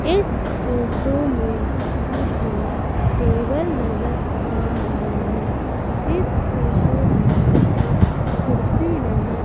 इस फोटो में मुझे टेबल नजर आ रही है इस फोटो में मुझे कुर्सी नजर--